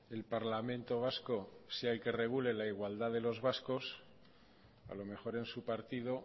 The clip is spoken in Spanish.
el parlamento vasco sea el que regule la igualdad de los vascos a lo mejor en su partido